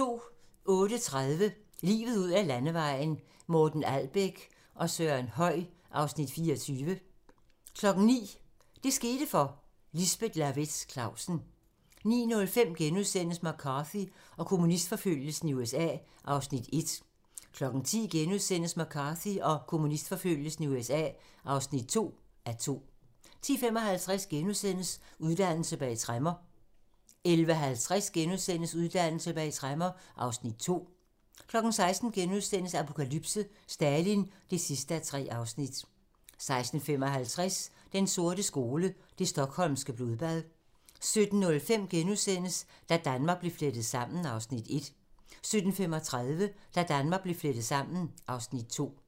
08:30: Livet ud ad landevejen: Morten Albæk og Søren Høy (Afs. 24) 09:00: Det skete for - Lisbeth Lawaetz Clausen 09:05: McCarthy og kommunistforfølgelsen i USA (1:2)* 10:00: McCarthy og kommunistforfølgelsen i USA (2:2)* 10:55: Uddannelse bag tremmer * 11:50: Uddannelse bag tremmer (Afs. 2)* 16:00: Apokalypse: Stalin (3:3)* 16:55: Den sorte skole: Det Stockholmske Blodbad 17:05: Da Danmark blev flettet sammen (Afs. 1)* 17:35: Da Danmark blev flettet sammen (Afs. 2)